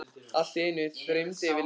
Allt í einu þyrmdi yfir Lillu.